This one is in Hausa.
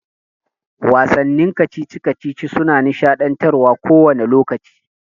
Wasannin kacici-kacici suna nishaɗantarwa kowani lokaci.